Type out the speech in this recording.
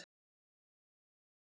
Betur má ef duga skal!